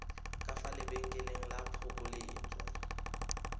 ka fa lebenkeleng la phokoletso